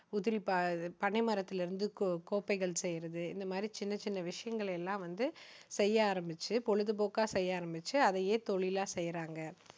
உதிரி பாகங்~ பனை மரத்திலிருந்து கோ~கோப்பைகள் செய்யுறது இந்த மாதிரி சின்ன சின்ன விஷயங்களை எல்லாம் வந்து செய்ய ஆரம்பிச்சு, பொழுதுபோக்கா செய்ய ஆரம்பிச்சு, அதையே தொழிலா செய்றாங்க.